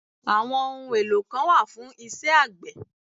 Àwọn ohun èlò kan wà fún isẹ́ àgbẹ̀